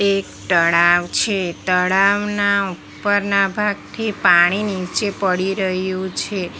એક તળાવ છે તળાવના ઉપરના ભાગથી પાણી નીચે પડી રહ્યું છે.